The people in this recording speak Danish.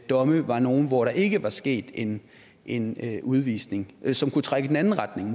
domme var nogle hvor der ikke var sket en en udvisning og som måske kunne trække i den anden retning